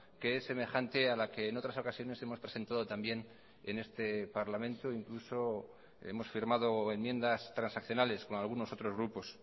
que es semejante a la que en otras ocasiones hemos presentado también en este parlamento incluso hemos firmado enmiendas transaccionales con algunos otros grupos